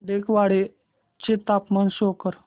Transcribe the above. टेकवाडे चे तापमान शो कर